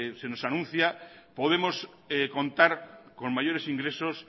se nos anuncia podemos contar con mayores ingresos